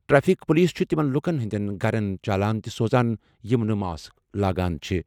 Traffic police چھِ تِمَن لوٗکَن ہٕنٛدٮ۪ن گَرَن چالان تہِ سوزان یِم نہٕ ماسک لاگان چھِ۔